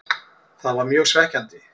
Það var mjög svekkjandi.